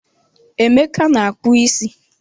Emeka na-akpu isi.